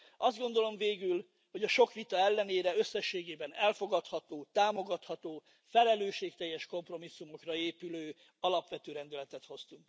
Azt gondolom, végül, hogy a sok vita ellenére összességében elfogadható, támogatható, felelősségteljes kompromisszumokra épülő, alapvető rendeletet hoztuk.